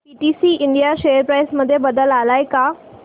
PTC India share price मध्ये बदल आलाय का